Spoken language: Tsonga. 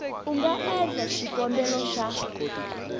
u nga endla xikombelo xa